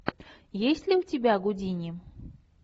есть ли у тебя гудини